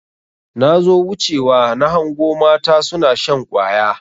Nazo wuce wa nahango mata suna shan ƙwaya.